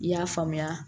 I y'a faamuya